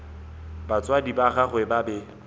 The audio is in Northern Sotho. batswadi ba gagwe ba be